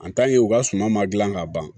u ka suma ma gilan ka ban